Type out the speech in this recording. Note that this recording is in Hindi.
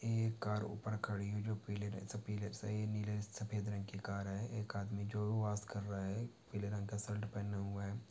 ये कार उपर खड़ी है जी पीले नीले सफ़ेद रंग की कार है एक आदमी जो वॉश कर रहा है पीले रंग का शर्ट पहने हुए है।